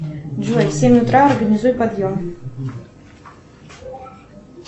джой в семь утра организуй подъем